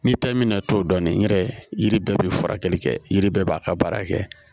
Ni ta in bɛna tɔ dɔn nin yɛrɛ yiri bɛɛ bɛ furakɛli kɛ yiri bɛɛ b'a ka baara kɛ